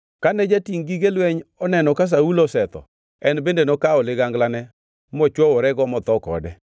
Kane jatingʼ gige lweny oneno ka Saulo osetho en bende nokawo liganglane mochwoworego motho kode.